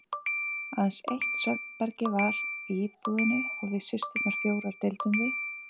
Aðeins eitt svefnherbergi var í íbúðinni og við systurnar fjórar deildum því.